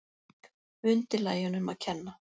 Undirlægjunum að kenna.